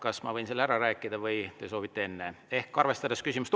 Kas ma võin selle ära rääkida või te soovite enne?